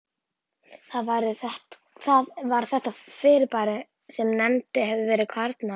Það var þetta fyrirbæri sem nefnt hefur verið karlmaður.